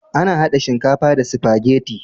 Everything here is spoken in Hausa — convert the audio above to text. Ana hada shinkafa da sifageti